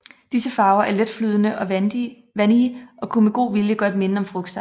Disse farver er letflydende og vandige og kunne med god vilje godt minde om frugtsaft